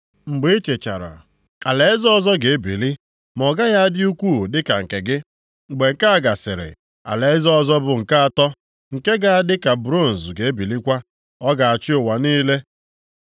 “Mgbe ị chịchara alaeze ọzọ ga-ebili, ma ọ gaghị adị ukwuu dịka nke gị, mgbe nke a gasịrị, alaeze ọzọ bụ nke atọ, nke ga-adị ka bronz ga-ebilikwa, ọ ga-achị ụwa niile.